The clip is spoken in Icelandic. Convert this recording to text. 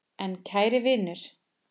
En kæri vinur.